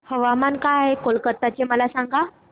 तापमान काय आहे कलकत्ता चे मला सांगा